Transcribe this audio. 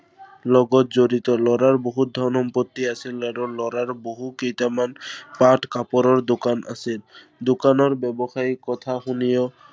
লগত জড়িত। লৰাৰ বহুত ধন সম্পত্তি আছিল। আৰু লৰাৰ বহু কেইটামান পাট-কাপোৰৰ দোকোন আছিল। দোকানৰ ব্য়ৱসায়ী কথা শুনিও